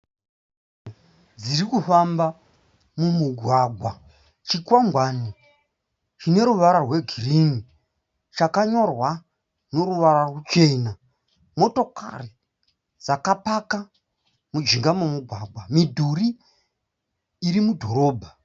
Motikari dziri kufamba mumugwagwa. Chikwangwani chine ruvara rwegirinhi chakanyorwa neruvara ruchena. Motokari dzakapaka mujinga memugwagwa. Midhuri iri mudhorobha.